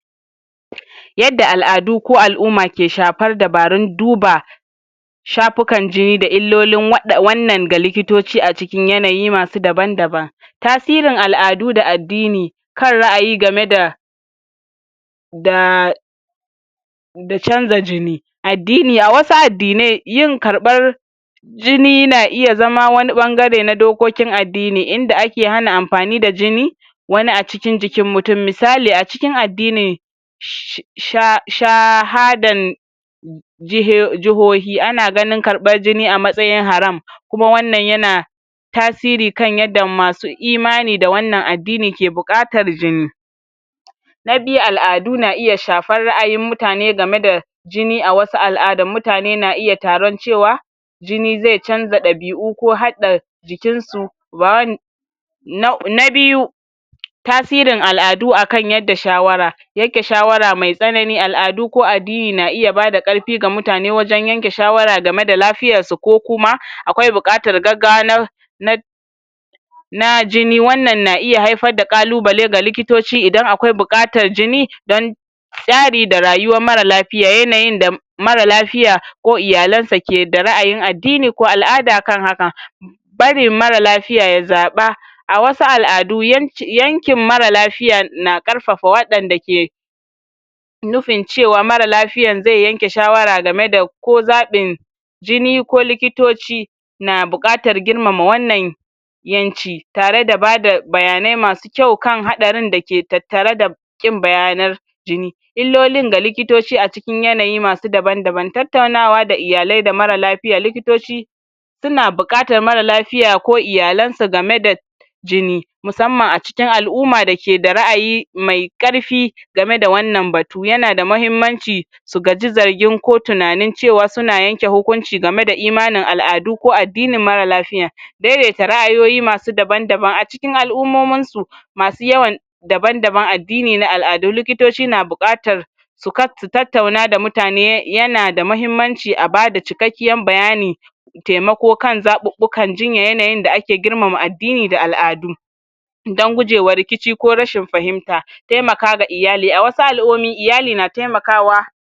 yadda al'adu ko al'umma ke shafar dabaarun duba shafukan jini da illoli waɗa[um] wanan ga likitoci acikin yanayi daban daban tasiri al'adu da addini kan ra'ayi game da daa da canza jini addini, a wasu addinai, yin karɓar jini na iya zama wani ɓangare na dokoki na addini inda ake hana anfani da jini wani acikin jikin mutun misali acikin addini sha[um] shahadan jihio[um] jihohi ana ganin karɓar jini kamar haram kuma wannan yana tasiri kan yanda masu imani da wanan addini ke buƙatar jini na biyu al'adui na iya shafar ra'ayin mutane game da jini a wasu al'adan mutane na iya taron cewa jini ze canza ɗabi'u ko haɗa jikin su ba wan na[um] na biyu tasirin al'adu akan yadda shawara yanke shawara me tsanan,i al'adu ko addini na iya bada karfi ga mutane wajan yanke shawara gameda lafiyar su ko kuma, akwai buƙatar gaggawa na na na jini wanan na iya haifar da ƙalubale ga likitoci idan akwai buƙatar jini don tsari da rayuwan mara lafiya yanayin da mara lafiya ko iyalan sa ke da ra'ayin addini ko al'ada akan haka barin mara lafiya ya zaɓa a wasu al'adu yanci[um] yanke mara lafiya na karfafa waɗan dake nufin cewa mara lafiyan ze yanke shawara gemada ko zaɓin jini ko likitoci na bukatar girmama wanan yanki tare da bada bayanai masu kyau kan haɗarin dake tatttare da ƙin bayanan jini illolin ga lpkitoci aci kin yanayin daban daban, tattaunawa da iyalai da mara lafiya likitoci suns buƙatar mara lafiya ko iyalansa game da jini musamman aci kin al'auma dake da ra'ayi me varfi game da wannan batu yana da mahimmanci su gaji zargin ko tunanin cewa suna yanke hukunci gameda imanin al'adu ko addinin mara lafiya daidaita ra'ayoyi masu daban daban acikin al'ummominsu masu yawan daban daban addini na al; adu likitoci na buƙatan su ka[um] su tattauna da mutane um yana da mahimmanci abada cikakkiyan bayani temako kan zaɓuɓukan jinya yanayin da ake girmama addini da al; adu dan guje wa rikici ko rashin fahimta temaka ga iyali a wasu al'omi iyali na temakawa